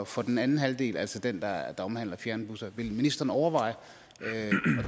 for den anden halvdel altså den der omhandler fjernbusser vil ministeren overveje at